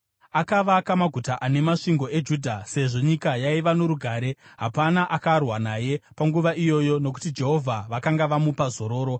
Akavaka maguta ane masvingo eJudha, sezvo nyika yaiva norugare. Hapana akarwa naye panguva iyoyo nokuti Jehovha vakanga vamupa zororo.